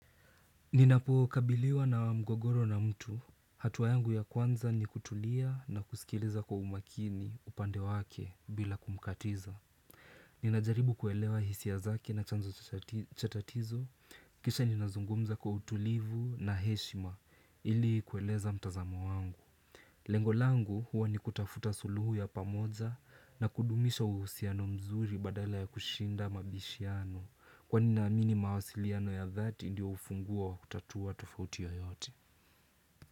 Ninapokabiliwa na mgogoro na mtu, hatua yangu ya kwanza ni kutulia na kusikiliza kwa umakini upande wake bila kumkatiza Ninajaribu kuelewa hisia zaki na chanzo cha tatizo, kisha ninazungumza kwa utulivu na heshima ili kueleza mtazamo wangu Lengo langu huwa ni kutafuta suluhu ya pamoja na kudumisha uhusiano mzuri badala ya kushinda mabishiano kwani naamini mawasiliano ya dhati ndio ufunguo wakutatua tofauti yoyote.